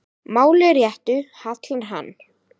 máli réttu hallar hann